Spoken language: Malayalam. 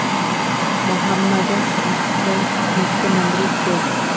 മൊഹമ്മദ് അഫ്‌സല്‍ മുഖ്യമന്ത്രി കെ